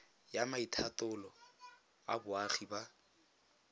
ya maitatolo a boagi ba